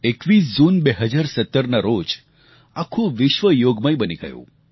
21 જૂન 2017ના રોજ આખું વિશ્વ યોગમય બની ગયું